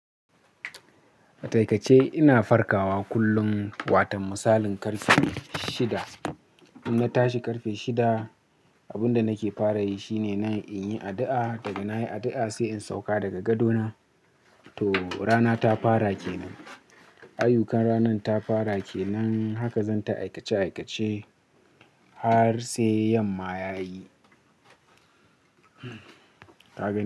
Atakaice ina farkawa kullum, watan misalin ƙarfe shida. In na tashi ƙarfe shida, abun da nake fara yi shine na in yi addu'a. Daga na yi addu'a sai in sauka daga gadona, to rana ta fara kenan. Aiyukan ranan ta fara kenan, haka zan ta aikace-aikace har sai yamma ya yi. Ta gani.